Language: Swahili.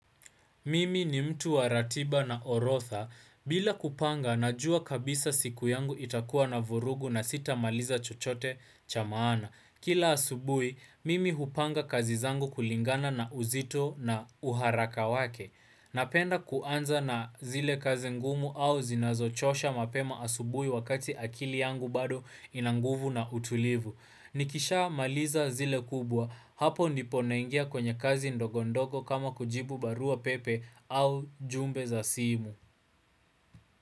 Mimi ni mtu wa ratiba na orodha. Bila kupanga, najua kabisa siku yangu itakuwa na vurugu na sitamaliza chochote cha maana. Kila asubuhi, mimi hupanga kazi zangu kulingana na uzito na uharaka wake. Napenda kuanza na zile kazi ngumu au zinazochosha mapema asubui wakati akili yangu bado ina nguvu na utulivu. Nikishamaliza zile kubwa, hapo ndipo naingia kwenye kazi ndogo ndogo kama kujibu barua pepe au jumbe za simu.